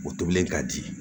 O tobilen ka di